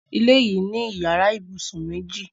Ilé yìí ní yàrá ibùsùn méjì.